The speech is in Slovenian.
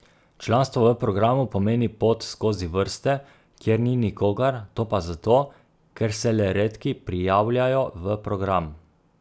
Članstvo v programu pomeni pot skozi vrste, kjer ni nikogar, to pa zato, ker se le redki prijavljajo v program.